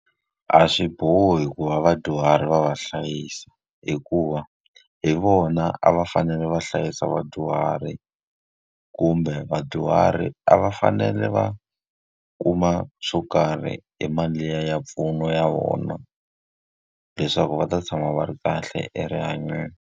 A swi bohi ku va vadyuhari va va hlayisa hikuva, hi vona a va fanele va hlayisa vadyuhari kumbe vadyuhari a va fanele va kuma swo karhi hi mali liya ya mpfuno ya vona, leswaku va ta tshama va ri kahle erihanyweni.